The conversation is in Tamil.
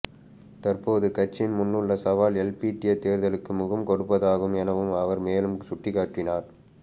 தற்பொழுது கட்சியின் முன்னுள்ள சவால் எல்பிட்டிய தேர்தலுக்கு முகம்கொடுப்பதாகும் எனவும் அவர் மேலும் சுட்டிக்காட்டினார்